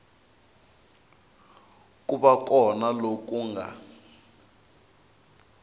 ku va kona loku nga